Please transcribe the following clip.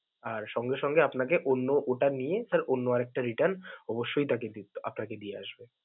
আর সঙ্গে সঙ্গে আপনাকে অন্য ওটা নিয়ে sir অন্য আরেকটা return অবশ্যই তাকে দিবে~ আপনাকে দিয়ে দিবে.